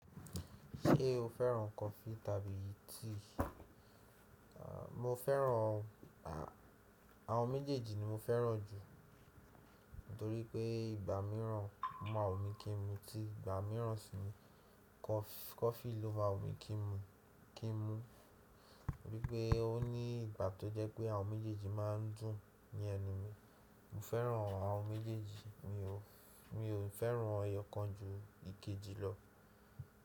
Ṣé o féràn coffee tàbí tea? Mo féràn àwọn méjèèjì ni mo féràn jù, torípé ìgbà míràn, ó ma wùmi kí n mu tíì ìgbà míràn si nìí, coffee ló máa wùmi kí n mu, torípé ó ní ìgbà tó jẹ́ pé àwọn méjèèjì máa ń dùn ni ẹnu mi. Mo féràn àwọn méjèèjì, mi ò féràn eyokan ju ikeji lọ.